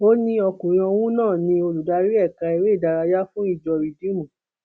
ó ní ọkùnrin ọhún náà ni olùdarí ẹka eré ìdárayá fún ìjọ rìdíìmù